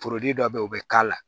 dɔ be yen o bi k'a la